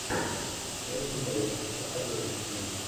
кэти бэйтс посоветуй мне